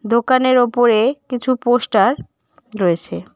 দোকানের ওপরে কিছু পোস্টার রয়েছে।